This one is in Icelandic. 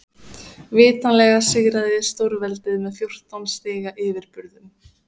Vitanlega sigraði stórveldið með fjórtán stiga yfirburðum.